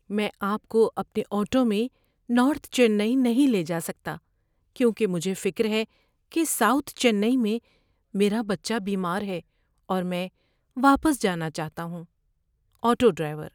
میں آپ کو اپنے آٹو میں نارتھ چنئی نہیں لے جا سکتا کیونکہ مجھے فکر ہے کہ ساؤتھ چنئی میں میرا بچہ بیمار ہے اور میں واپس جانا چاہتا ہوں۔ (آٹو ڈرائیور)